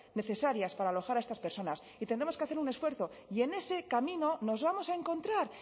necesarias para alojar a estas personas y tendremos que hacer un esfuerzo y en ese camino nos vamos a encontrar